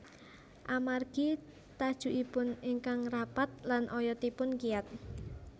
Amargi tajukipun ingkang rapat lan oyotipun kiyat